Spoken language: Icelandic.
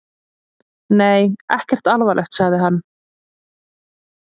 Nei, ekkert alvarlegt, sagði hann.